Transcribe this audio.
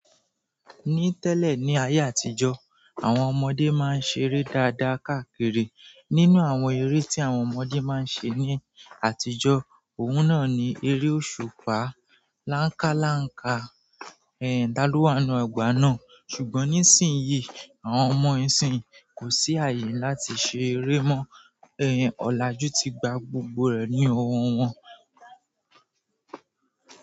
Ní tẹ́lẹ̀ ní ayé àtijọ́, àwọn ọmọdé máa ń ṣeré dáadáa káàkiri. Nínú àwọn eré tí àwọn ọmọdé máa ń ṣe ní àtijọ́, òun náà ni eré òṣùpá, làńkálàńká, ẹ̀yà tá lo wà nu ọgbà náà. Ṣùgbọ́n nísìnyí, àwọn ọmọ ìsìnyí kò sí àyè láti ṣeré mọ́. Ẹ̀hẹ̀n, ọ̀làjú ti gba gbogbo rẹ̀ ní owó wọn.